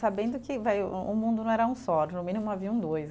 sabendo que vai, o o mundo não era um só, de um mínimo haviam dois.